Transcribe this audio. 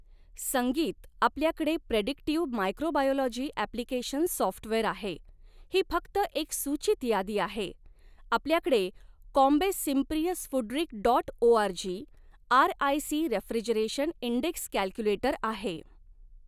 संगीत आपल्याकडे predictive microbiology application software आहे ही फक्त एक सूचित यादी आहे आपल्याकडे ComBase Symprevius FoodRisk dot org RIC refrigeration index calculator आहे.